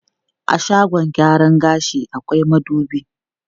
A shagon gyaran gashi akwai madubi.